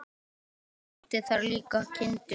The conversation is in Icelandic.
Og átti þar líka kindur.